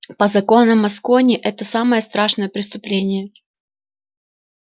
по законам аскони это самое страшное преступление